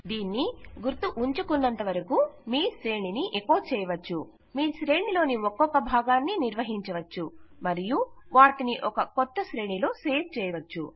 ఇది గుర్తుంచుకున్నంతవరకూ మీ శ్రేణిని ఎకొ చేయవచ్చు మీ శ్రేణిలోని ఒక్కొక్క భాగాన్ని నిర్వహించవచ్చు మరియు వాటిని ఒక క్రొత్త శ్రేణిలో సేవ్ చేయవచ్చు